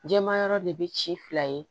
Jɛma yɔrɔ de bɛ ci fila ye